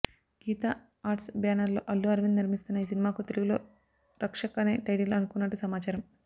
Gita Arts బ్యానర్లో అల్లు అరవింద్ నిర్మిస్తున్న ఈ సినిమాకు తెలుగులో రక్షక్ అనె టైటిల్ అనుకున్నట్టు సమాచారం